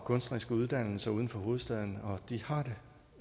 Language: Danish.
kunstneriske uddannelser uden for hovedstaden og de har det